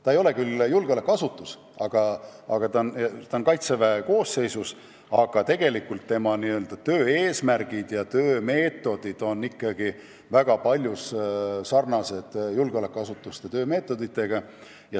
See ei ole küll julgeolekuasutus, aga kuna ta kuulub Kaitseväe koosseisu, on tema töö eesmärgid ja meetodid väga paljus sarnased julgeolekuasutuste omadega.